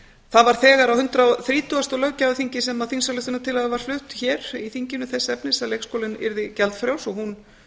það var þegar á hundrað og þrítugasta löggjafarþingi sem að þingsályktunartillaga var flutt hér í þinginu þess efnis að leikskólinn yrði gjaldfrjáls og hún